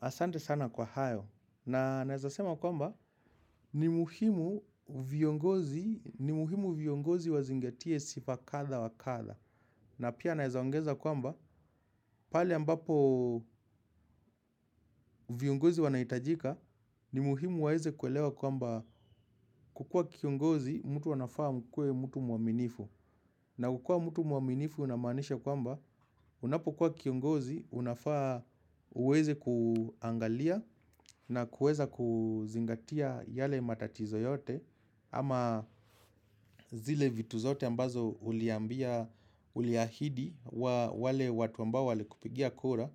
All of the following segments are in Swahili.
Asante sana kwa hayo. Na naweza sema kwamba ni muhimu viongozi wazingetie sifa kadha wa kadha. Na pia naweza ongeza kwamba pale ambapo viongozi wanahitajika ni muhimu waweze kuelewa kwamba kuwa kiongozi mtu anafaa awe mtu mwaminifu. Na kukua mtu mwaminifu inamaanisha kwamba unapokuwa kiongozi unafaa uweze kuangalia na kuweza kuzingatia yale matatizo yote ama zile vitu zote ambazo uliambia uliahidi wale watu ambao wale kupigia kura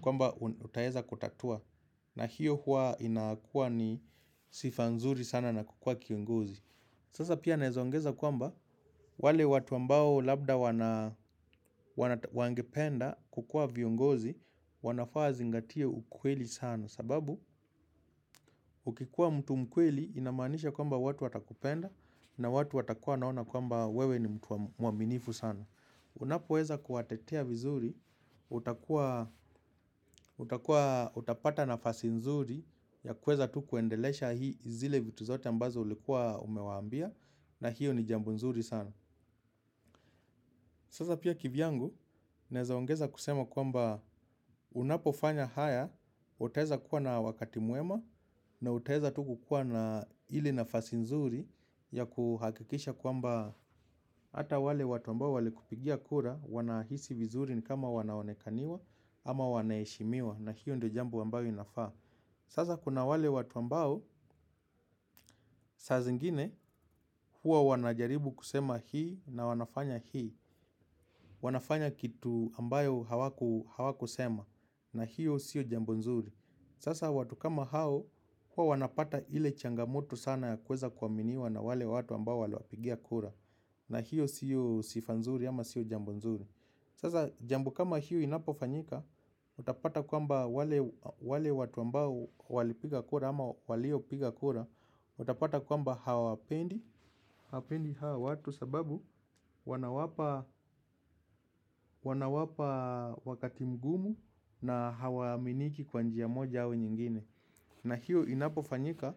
kwamba utaweza kutatua na hiyo hua inakua ni sifa nzuri sana na kukua kiongozi. Sasa pia naweza ongeza kwamba wale watu ambao labda wangependa kukua viongozi wanafaa wazingatie ukweli sana. Sababu ukikuwa mtu mkweli inamaanisha kwamba watu watakupenda na watu watakua wanaona kwamba wewe ni mtu mwaminifu sana. Unapoweza kuwatetea vizuri, utakuwa utapata nafasi nzuri ya kuweza tu kuendeleza vile vitu vyote ambavyo ulikuwa umewaambia. Na hiyo ni jambo nzuri sana. Sasa pia kivyangu, naweza ongeza kusema kwamba unapofanya haya. Utaweza kuwa na wakati mwema na utaweza tu kuwa na ile nafasi nzuri ya kuhakikisha kwamba ata wale watu ambao wale kupigia kura wanahisi vizuri ni kama wanaonekaniwa ama wanaeshimiwa. Na hiyo ndo jambo ambayo inafaa. Sasa kuna wale watu ambao, saa zingine huwa wanajaribu kusema hii na wanafanya hii. Wanafanya kitu ambayo hawakusema na hiyo sio jambo nzuri. Sasa watu kama hao huawanapata ile changamoto sana ya kuweza kuaminiwa na wale watu ambao waliwapigia kura. Na hiyo sio sifa nzuri ama sio jambo nzuri. Sasa jambo kama hiyo inapofanyika. Utapata kwamba wale watu ambao walipiga kura ama walio piga kura. Watapata kwamba hawawapendi hawa watu sababu wanawapa wakati mgumu na hawaaminiki kwa njia moja au nyingine. Na hiyo inapofanyika,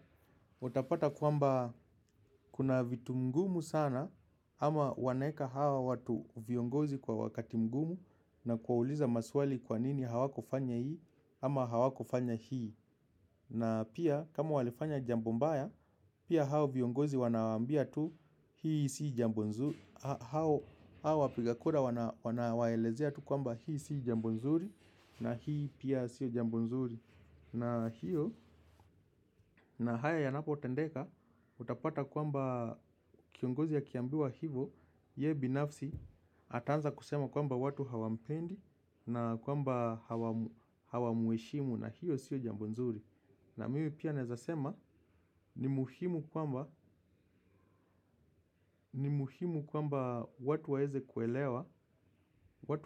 uatapata kwamba kuna vitu ngumu sana ama wanaweka hawa watu viongozi kwa wakati mgumu. Na kuwauliza maswali kwa nini hawakufanya hii ama hawakufanya hii. Na pia kama walifanya jambo mbaya, pia hao viongozi wanawambia tu, hii si jambo nzuri, hao wapigakura wanawaelezea tu kwamba hii si jambo nzuri na hii pia si jambo nzuri. Na hiyo, na haya yanapo tendeka, utapata kwamba kiongozi akiambiwa hivo, yeye binafsi, ataanza kusema kwamba watu hawampendi na kwamba hawamueshimu na hiyo si jambo nzuri. Na mimi pia nawezasema ni muhimu ni muhimu kwamba watu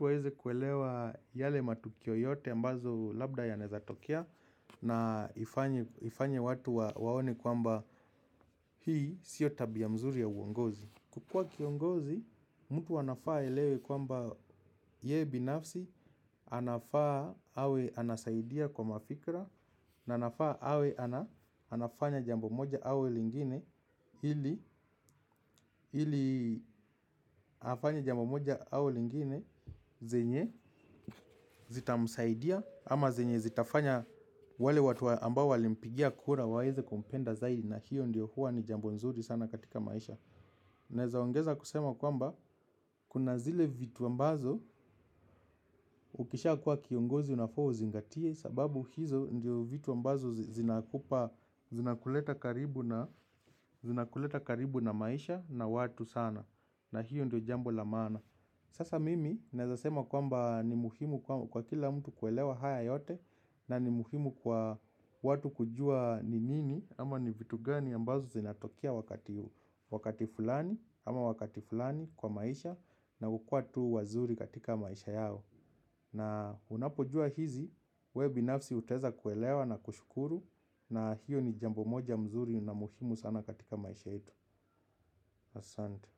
waeze kuelewa yale matukio yote mbazo labda yanaezatokea na ifanye watu waone kwamba hii sio tabia nzuri ya uongozi. Kuwa kiongozi mtu anafaa aelewe kwamba yeye binafsi anafaa awe anasaidia kwa fikra na anafaa awe anafanya jambo moja au lingine ili afanye jambo moja au lingine zenye zita msaidia ama zenye zitafanya wale watu ambao walimpigia kura waeze kumpenda zaidi na hiyo ndiyo huwa ni jambo nzuri sana katika maisha. Naezaongeza kusema kwamba, kuna zile vitu ambazo ukisha kuwa kiongozi na faa uzingatie. Sababu hizo ndio vitu ambazo zinakupa, zinakuleta karibu na maisha na watu sana. Na hiyo ndio jambo la maana. Sasa mimi, naeza sema kwamba ni muhimu kwa kila mtu kuelewa haya yote. Na ni muhimu kwa watu kujua ni nini ama ni vitu gani ambazo zinatokea wakati fulani. Ama wakati fulani kwa maisha. Na ukua tu wazuri katika maisha yao. Na unapojua hizi. We binafsi utaeza kuelewa na kushukuru. Na hiyo ni jambo moja mzuri na muhimu sana katika maisha yetu. Asante.